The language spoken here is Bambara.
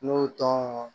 N'o tɔ